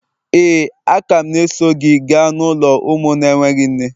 Éè, a ka m na-eso gị gaa n'ụlọ ụmụ na-enweghị nne.